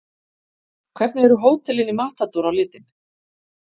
Hvernig eru hótelin í Matador á litinn?